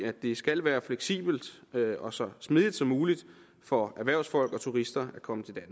at det skal være fleksibelt og så smidigt som muligt for erhvervsfolk og turister at komme til